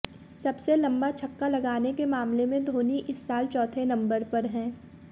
सबसे लंबा छक्का लगाने के मामले में धोनी इस साल चौथे नंबर पर हैं